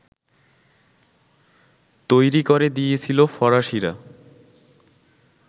তৈরি করে দিয়েছিল ফরাসিরা